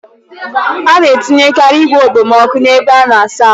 Ana etinyekari igwe okpomọkụ n'ebe ịsa ahụ.